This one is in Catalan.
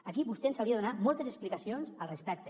aquí vostè ens hauria de donar moltes explicacions al respecte